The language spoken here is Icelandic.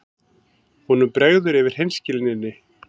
Honum bregður yfir hreinskilninni.